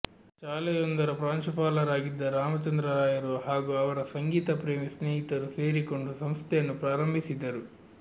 ಶಾಲೆಯೊಂದರ ಪ್ರಾಂಶುಪಾಲರಾಗಿದ್ದ ರಾಮಚಂದ್ರ ರಾಯರು ಹಾಗೂ ಅವರ ಸಂಗೀತ ಪ್ರೇಮಿ ಸ್ನೇಹಿತರು ಸೇರಿಕೊಂಡು ಸಂಸ್ಥೆಯನ್ನು ಪ್ರಾರಂಭಿಸಿದರು